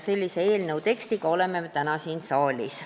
Sellise tekstiga oleme me täna siin saalis.